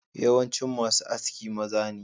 Yawancin masu Aski maza ne.